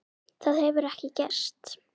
Það hefur ekki gerst.